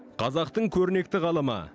қазақтың көрнекті ғалымы